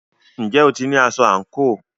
Ǹjẹ́ o ti ní aṣọ àǹkóò?